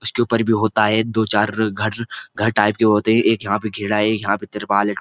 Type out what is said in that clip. उसके ऊपर भी होता है दो चार घर घर टाईप के होते हैं एक यहां पे घेरा है एक तिरपाल है।